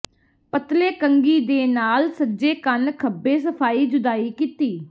ਪਤਲੇ ਕੰਘੀ ਦੇ ਨਾਲ ਸੱਜੇ ਕੰਨ ਖੱਬੇ ਸਫ਼ਾਈ ਜੁਦਾਈ ਕੀਤੀ